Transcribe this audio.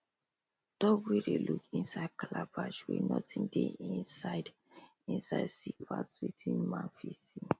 dog wey dey look inside calabash wey nothing dey inside inside see pass wetin man fit see